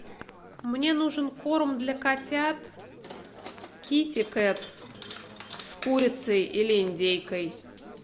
мне нужен корм для котят китикэт с курицей или индейкой